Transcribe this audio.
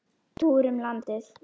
Túr um landið.